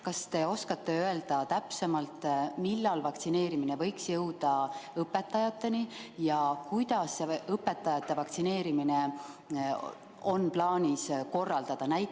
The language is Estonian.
Kas te oskate öelda täpsemalt, millal vaktsineerimine võiks jõuda õpetajateni ja kuidas õpetajate vaktsineerimine on plaanis korraldada?